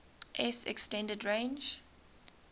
s extended range